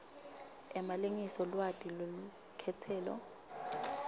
emalengiso lwati lwelukhetselo